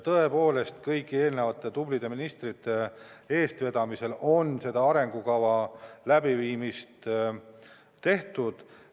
Tõepoolest, kõigi eelmiste tublide ministrite eestvedamisel on seda arengukava koostatud.